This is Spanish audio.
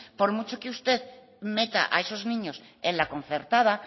por mucho que usted meta a esos niños en la concertada